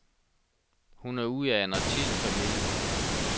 Hun er ud af en artistfamilie.